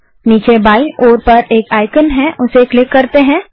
नीचे बायीं ओर पर एक आइकन है उसे क्लिक करते हैं